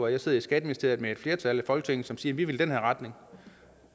jeg sidder i skatteministeriet med et flertal i folketinget som siger at vi vil i den her retning